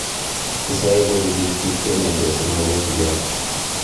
Kisae kochuchuch biik chemeytos eng mogongiat